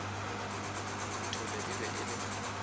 nthole e be e le